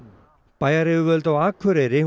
bæjaryfirvöld á Akureyri